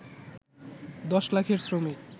১০ লাখের শ্রমিক